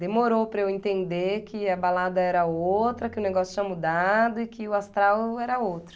Demorou para eu entender que a balada era outra, que o negócio tinha mudado e que o astral era outro.